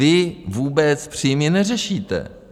Vy vůbec příjmy neřešíte.